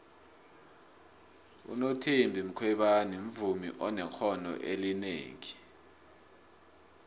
unothembi khwebane muvmi onekqono elinengi